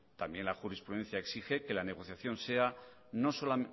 también la jurisprudencia exige que la negociación sea